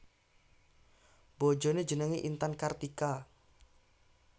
Bojoné jenengé Intan Kartika